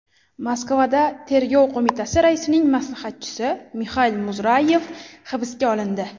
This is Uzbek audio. Moskvada Tergov qo‘mitasi raisining maslahatchisi Mixail Muzrayev hibsga olindi.